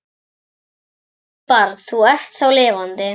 Elsku barn, þú ert þá lifandi.